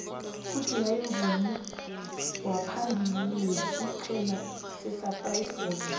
ujuly mvumi waphambili wesiqhema sesaplasi boys